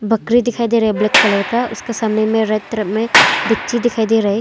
बकरी दिखाई दे रहा है ब्लैक कलर का उसके सामने राइट तरफ में डक्ची दिखाई दे रहा है।